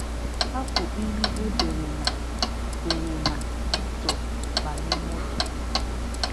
Hapụ ihe e dere na dere na mòtò, banye mòtò.